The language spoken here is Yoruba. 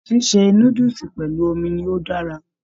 Ṣíṣe núdúsí pẹlú omi ni o dára.